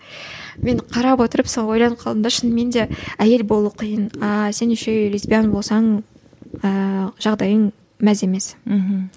мен қарап отырып сол ойланып қалдым да шынымен де әйел болу қиын а сен еще и лесбиян болсаң ыыы жағдайың мәз емес мхм